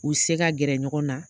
U se ka gɛrɛ ɲɔgɔn na